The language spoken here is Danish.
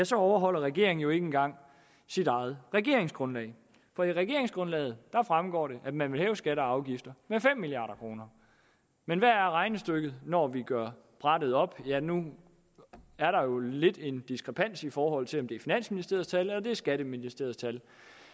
så overholder regeringen jo ikke engang sit eget regeringsgrundlag for af regeringsgrundlaget fremgår det at man vil hæve skatter og afgifter med fem milliard kroner men hvad er regnestykket når vi gør det op ja nu er der jo lidt en diskrepans i forhold til om det er finansministeriets tal eller det er skatteministeriets tal